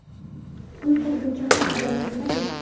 uy qurguncha ham "odamlar nima deydi".